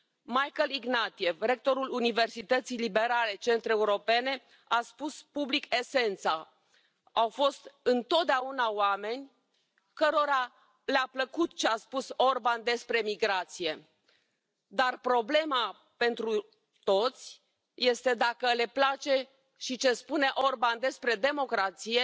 Michael Ignatieff, rectorul Universității liberale Central Europene, a spus public esența au fost întotdeauna oameni cărora le a plăcut ce a spus Orban despre migrație, dar problema pentru toți este dacă le place și ce spune Orban despre democrație,